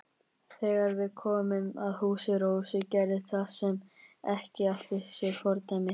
Þegar við komum að húsi Rósu gerðist það sem ekki átti sér fordæmi.